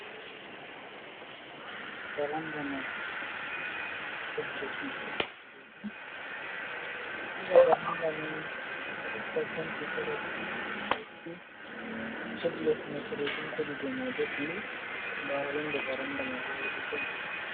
Varanda mai ɗo mari penti kolo ɗiɗi hedi les mai penti boɗejum hedi dou mai bo penti blu. Nda windo varanda mai hedi to.